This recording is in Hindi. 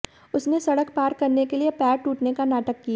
उसने सड़क पार करने के लिए पैर टूटने का नाटक किया